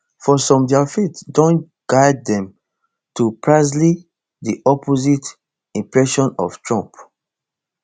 for some dia faith don guide dem to precisely di opposite impression of trump